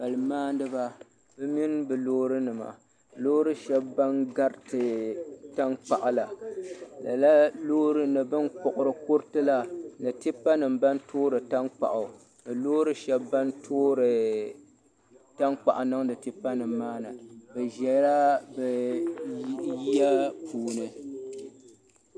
Palli maandiba bi mini bi loori nima loori shɛba ban gariti tankpaɣu la ni bin kpuɣiri kuruti la ni tipa nima ban toori tankpaɣu ni loori shɛba ban toori tankpaɣu niŋdi tipa nima maa ni bi ʒɛla yiya puuni.